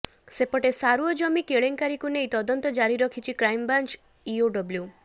ସେପଟେ ସାରୁଅ ଜମି କେଳେଙ୍କାରୀକୁ ନେଇ ତଦନ୍ତ ଜାରି ରଖିଛି କ୍ରାଇମବ୍ରାଞ୍ଚ ଇଓଡବ୍ଲୁ